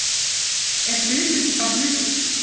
Er hlutur ekki bara hlutur?